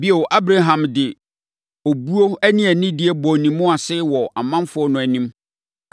Bio Abraham de obuo ne anidie bɔɔ ne mu ase wɔ ɔmanfoɔ no anim,